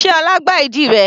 Sé ọlá gbá ìdí rẹ?